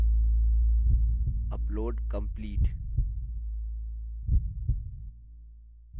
चलिए इसकी कोशिश करते हैं